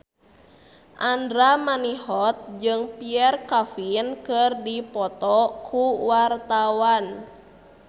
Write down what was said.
Andra Manihot jeung Pierre Coffin keur dipoto ku wartawan